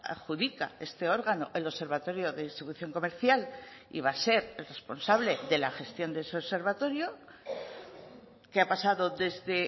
adjudica este órgano el observatorio de distribución comercial y va a ser el responsable de la gestión de ese observatorio qué ha pasado desde